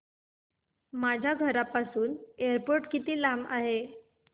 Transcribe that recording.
माझ्या घराहून एअरपोर्ट किती लांब आहे